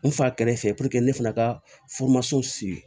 N fa kɛrɛfɛ ne fana ka siri